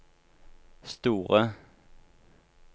store